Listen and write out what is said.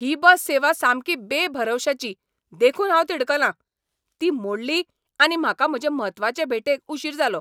ही bus सेवा सामकी बेभरवशाची देखून हांव तिडकलां. ती मोडली आनी म्हाका म्हजे म्हत्वाचे भेटेक उशीर जालो.